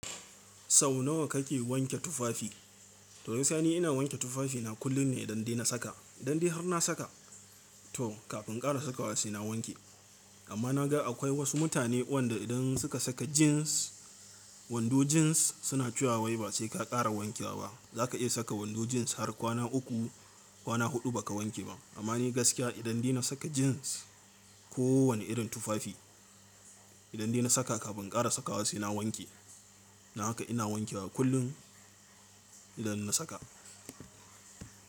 Sau nawa kake wanke tufafi? To gaskiya ni ina wanke tufafina kullun ne idan dai na saka. Idan dai har na saka to kafin inƙara sakawa sai na wanke. Amma na ga akwai wasu mutane wanda idan suka saka jins, wando jins suna cewa wai ba sai ka kara wanke wa ba. Za ka iya saka wando jins har kwana uku, kwana huɗu ba ka wanke ba. Amma ni gaskiya idan dai na saka jins ko wane irin tufafi, idan dai na saka kafin inƙara sakawa sai na wanke. Dan haka ina wanke wa kullum idan na saka.